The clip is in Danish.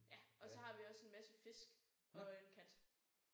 Ja og så har vi også en masse fisk og en kat